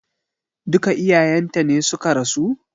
Duka iyayen ta ne suka rasu?